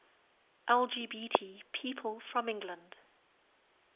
lgbt people from england